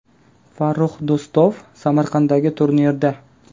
Farrux Do‘stov Samarqanddagi turnirda.